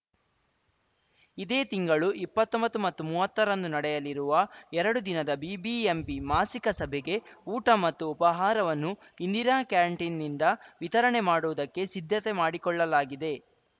ಇದೇ ತಿಂಗಳು ಇಪ್ಪತ್ತೊಂಬತ್ತು ಮತ್ತು ಮುವತ್ತರಂದು ನಡೆಯಲಿರುವ ಎರಡು ದಿನದ ಬಿಬಿಎಂಪಿ ಮಾಸಿಕ ಸಭೆಗೆ ಊಟ ಮತ್ತು ಉಪಹಾರವನ್ನು ಇಂದಿರಾ ಕ್ಯಾಂಟೀನ್‌ನಿಂದ ವಿತರಣೆ ಮಾಡುವುದಕ್ಕೆ ಸಿದ್ಧತೆ ಮಾಡಿಕೊಳ್ಳಲಾಗಿದೆ